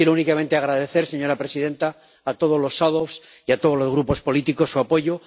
Quiero únicamente agradecer, señora presidenta, a todos los ponentes alternativos y a todos los grupos políticos, su apoyo.